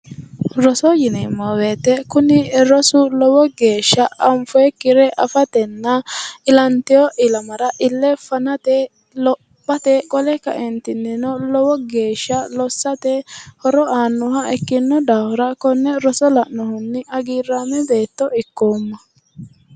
Roso yinneemmo woyte kuni rosu lowo geeshsha anfonikkiricho affatenna ilantino ilamara ile fanate lophate qole kaentinni lowo geeshsha lossate horo aanoha ikkino daafira kone roso la'nohunni hagiirame beetto ikkoomma".